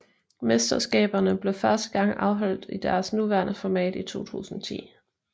Mesterskaberne blev første gang afholdt i deres nuværende format i 2010